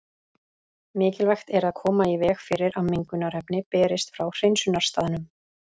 Mikilvægt er að koma í veg fyrir að mengunarefni berist frá hreinsunarstaðnum.